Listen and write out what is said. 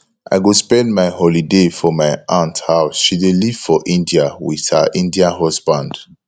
i go spend my holiday for my aunt house she dey live for india with her indian husband